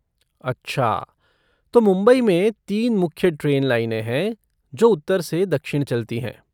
अच्छा, तो मुंबई में तीन मुख्य ट्रेन लाइनें है जो उत्तर से दक्षिण चलती हैं।